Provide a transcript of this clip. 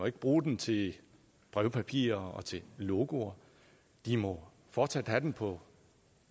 ikke bruge den til brevpapir og logoer de må fortsat have den på